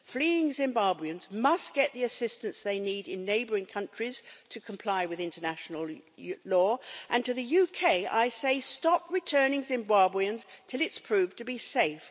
Fleeing Zimbabweans must get the assistance they need in neighbouring countries to comply with international law and to the UK I say, stop returning Zimbabweans until it's proved to be safe.